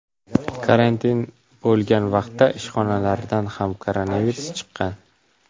Karantin bo‘lgan vaqtda ishxonalaridan ham koronavirus chiqqan ekan.